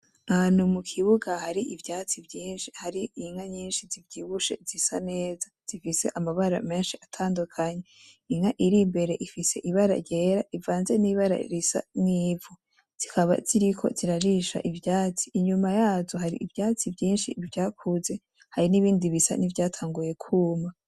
Ahantu mukibuga hari Ivyatsi vyinshi, har'Inka nyinshi zivyibushe zisa neza, zifise amabara menshi atandukanye, Inka irimbere ifise ibara ryera rivanze n'Ibara risa n' ivu.